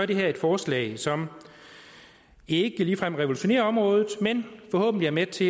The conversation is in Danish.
det her et forslag som ikke ligefrem revolutionerer området men forhåbentlig er med til at